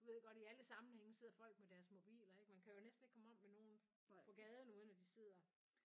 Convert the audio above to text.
Du ved godt i alle sammenhænge sidder folk med deres mobiler ikke man kan jo nærmest ikke komme om med nogen på gaden uden de sidder